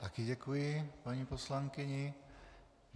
Také děkuji paní poslankyni.